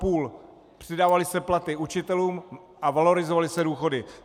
Přidávaly se platy učitelům a valorizovaly se důchody.